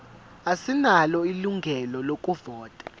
asinalo ilungelo lokuvota